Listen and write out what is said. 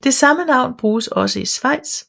Det samme navn bruges også i Svejts